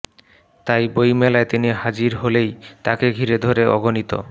তাই বইমেলায় তিনি হাজির হলেই তাকে ঘিরে ধরে অগণিত